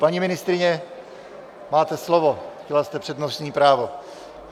Paní ministryně, máte slovo, chtěla jste přednostní právo.